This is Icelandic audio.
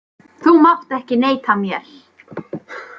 Þú mátt ekki neita mér.